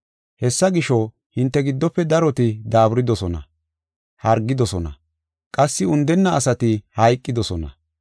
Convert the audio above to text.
Hessa gisho, hinte giddofe daroti daaburidosona; hargidosona; qassi undenna asati hayqidosona.